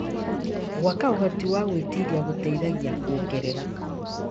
Gwaka ũhoti wa gwĩtiria gũteithagia kuongerera